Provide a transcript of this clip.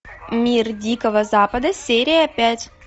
мир дикого запада серия пять